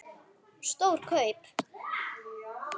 Stór kaup?